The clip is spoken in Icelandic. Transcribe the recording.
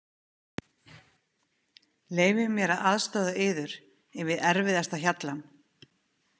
Leyfið mér að aðstoða yður yfir erfiðasta hjallann.